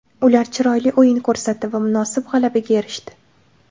Ular chiroyli o‘yin ko‘rsatdi va munosib g‘alabaga erishdi.